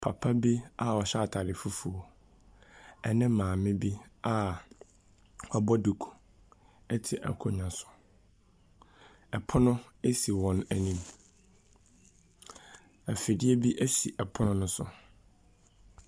Papa bi a ɔhyɛ atare fufuo ne maame bi a wabɔ duku te akonnwa so. Pono si wɔn anim. Afidie bi si pono no so.